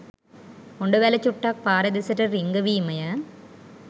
හොඬවැල චුට්ටක් පාර දෙසට රිංගවීමය.